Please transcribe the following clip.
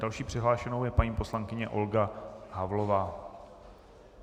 Další přihlášenou je paní poslankyně Olga Havlová.